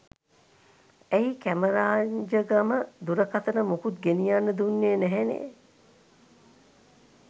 ඇයි කැමරාජංගම දුරකථන මොකුත් ගෙනියන්න දුන්නේ නැහැනේ